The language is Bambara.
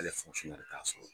Ale ye ya sɔrɔ.